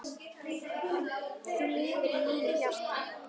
Þú lifir í mínu hjarta.